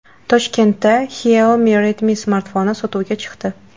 Toshkentda Xiaomi Redmi smartfoni sotuvga chiqdi.